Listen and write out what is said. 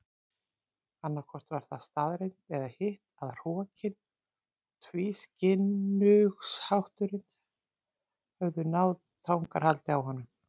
Annaðhvort var það staðreynd eða hitt að hrokinn og tvískinnungshátturinn höfðu náð tangarhaldi á honum.